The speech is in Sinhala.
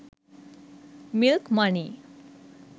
milk money